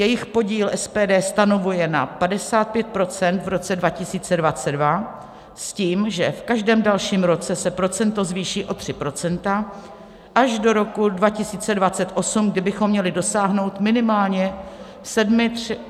Jejich podíl SPD stanovuje na 55 % v roce 2022 s tím, že v každém dalším roce se procento zvýší o 3 % až do roku 2028, kdy bychom měli dosáhnout minimálně 73% soběstačnosti.